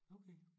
Okay